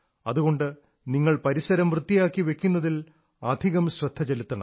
അതുകൊണ്ട് നിങ്ങൾ പരിസരം വൃത്തിയാക്കി വയ്ക്കുന്നതിൽ അധികം ശ്രദ്ധ ചെലുത്തണം